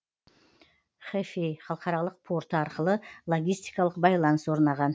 хэфэй халықаралық порты арқылы логистикалық байланыс орнаған